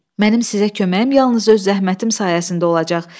"Mənim sizə köməyim yalnız öz zəhmətim sayəsində olacaq.